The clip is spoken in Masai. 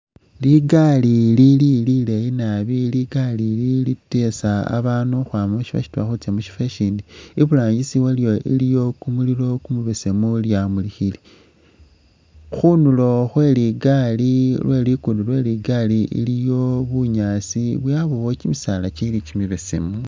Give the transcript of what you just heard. Ligari lili lileeyi nabi, ligari ili likeesa babaanu ukhwama mu syifwo syitwela khutsya mu syifwo ishiini. Iburangisi wayo iliyo kumulilo kumubesemu lyamulikhile. Khunulo khwe ligari lwe lugudo lwe ligari iliwo bunyaasi yabwo kimisaala kili kimibesemu.